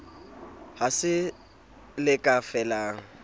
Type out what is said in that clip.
ha se le ka felang